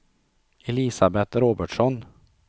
Elisabet Robertsson